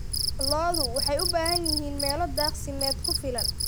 Lo'du waxay u baahan yihiin meelo daaqsimeed ku filan.